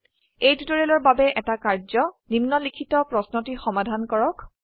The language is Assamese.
এই টিউটৰিয়েলৰ বাবে এটা কাৰ্য নিম্নলিখিত প্ৰশ্নটি সমাধান কৰক